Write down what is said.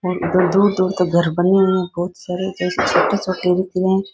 उधर दूर-दूर तक घर बने हुए बहुत सारे हैं जो छोटे-छोटे दिख रहे हैं।